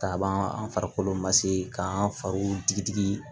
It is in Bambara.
Ka ban an farikolo ma se k'an fariw digi